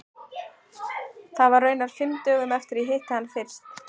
Það var raunar fimm dögum eftir að ég hitti hann fyrst.